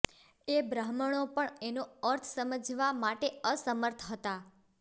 એ બ્રાહ્મણો પણ એનો અર્થ સમજવા માટે અસમર્થ હતા